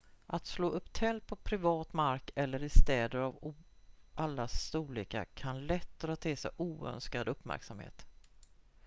att slå upp tält på privat mark eller i städer av alla storlekar kan lätt dra till sig oönskad uppmärksamhet